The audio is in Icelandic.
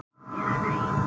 Eða nei.